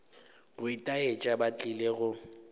go itaetša ba tlile go